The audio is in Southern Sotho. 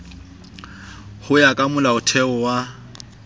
ho ya ka molaotheo wa